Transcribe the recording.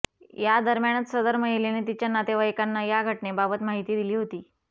या दरम्यानच सदर महिलेने तिच्या नातेवाईकांना या घटनेबाबत माहिती दिली होती